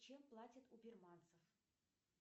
чем платят у бирманцев